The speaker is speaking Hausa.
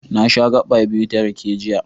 Na sha gaɓa biyu ta rake, jiya.